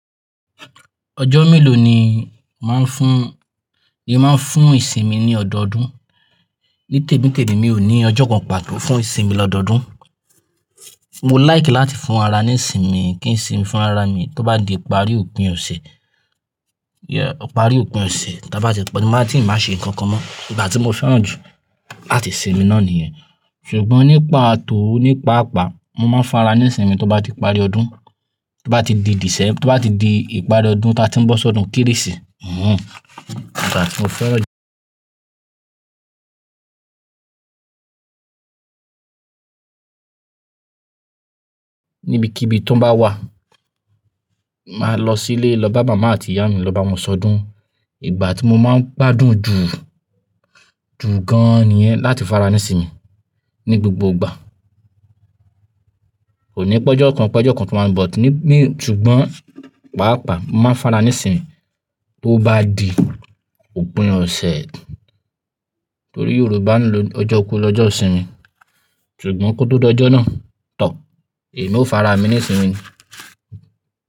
Ọjọ́ mélòó ni màá ń fún, ni màá ń fún ìsinmi ní ọdọọdún? Ní tèmi tèmi mi ò ní ọjọ́ kan pàtó fún ìsinmi lọ́dọọdún. Mo like láti fún ara ní ìsinmi, kí n sinmi fún ara mi. Tó bá di ìparí òpin ọ̀sẹ̀, ìparí òpin ọ̀sẹ̀, tí a bá ti lòpò, mo máa tìí n ba ṣe nǹkan kan mọ́. Ìgbà tí mo fẹ́ràn jù láti sinmi náà nìyẹn. Ṣùgbọ́n nípa tòó nípa àpá, mo máa ń fara ní ìsinmi tó bá ti parí ọdún, tó bá ti di dìsẹ́ẹ̀, tó bá ti di ìparí ọdún tí a ti ń bọ́ sọdún Kérésì. Hmh. Ìgbà tí mo fẹ́ràn jù níbi kibii tó bá wà, màá lọ sílé, lọ bá màmá àti ìyá mi, lọ bá wọn sọdún. Ìgbà tí mo máa ń gbádùn jù, jù gan-an nìyẹn láti fara ní ìsinmi ní gbogbo ìgbà. Kò ní pẹ́jọ kan pẹ́jọ kan tó máa ń bọ̀ ní, ní, ṣùgbọ́n pàápàá mo máa ń fara ní ìsinmi tó bá di òpin ọ̀sẹ̀. Nítorí Yorùbá ń lo ọjọ́ kan lọ́jọ́ ìsinmi. Ṣùgbọ́n kó tó d'ọjọ́ náà toor, èmi ó fara mi ní ìsinmi ni.